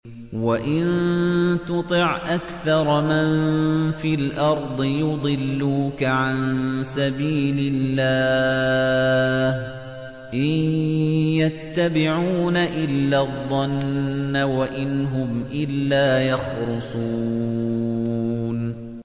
وَإِن تُطِعْ أَكْثَرَ مَن فِي الْأَرْضِ يُضِلُّوكَ عَن سَبِيلِ اللَّهِ ۚ إِن يَتَّبِعُونَ إِلَّا الظَّنَّ وَإِنْ هُمْ إِلَّا يَخْرُصُونَ